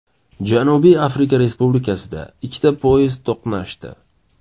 Janubiy Afrika Respublikasida ikkita poyezd to‘qnashdi.